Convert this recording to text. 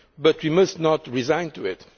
But we must not be resigned to it.